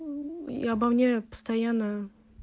и обо мне постоянно